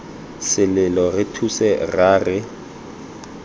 selelo re thuse rra re